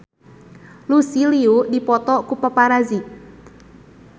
Lucy Liu dipoto ku paparazi